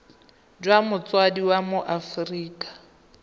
jwa motsadi wa mo aforika